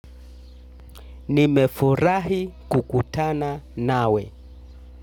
Nimefurahi kukutana nawe.